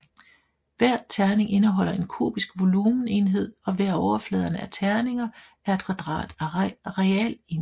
Hver terning indeholder en kubisk volumenenhed og hver af overfladerne af terninger er et kvadrat arealenhed